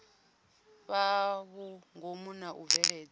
fhaa vhungomu na u bveledza